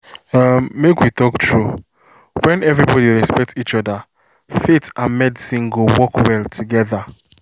umm… make we talk true when everybody respect each other faith and medicine go work well together